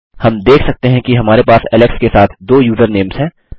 हम देख सकते हैं कि हमारे पास एलेक्स के साथ दो यूज़र नेम्स हैं